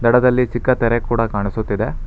ದಡದಲ್ಲಿ ಚಿಕ್ಕ ತೆರೆ ಕೂಡ ಕಾಣಿಸುತ್ತಿದೆ.